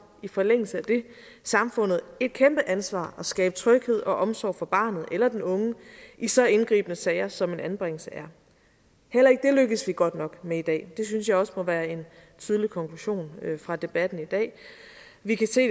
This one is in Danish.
i forlængelse af det samfundet et kæmpe ansvar at skabe tryghed og omsorg for barnet eller den unge i så indgribende sager som en anbringelse er heller ikke det lykkes vi godt nok med i dag det synes jeg også må være en tidlig konklusion fra debatten i dag vi kan se